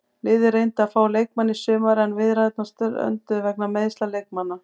Liðið reyndi að fá leikmanninn í sumar en viðræðurnar strönduðu vegna meiðsla leikmannanna.